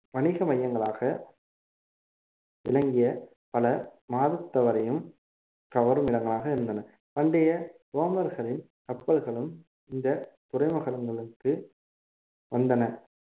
வணிக மையங்களாக விளங்கிய பல மாதத்தவரையும் கவரும் இடங்களாக இருந்தன பண்டைய ரோமர்களின் கப்பல்களும் இந்த துறைமுகங்களுக்கு வந்தன